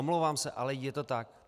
Omlouvám se, ale je to tak.